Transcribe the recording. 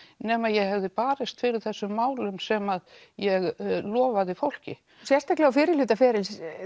nema ég hefði barist fyrir þessum málum sem ég lofaði fólki sérstaklega á fyrrihluta ferils